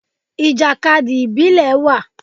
Ìjàkadì ìbílẹ̀ wà.